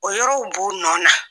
O yɔrɔ b'u nɔ na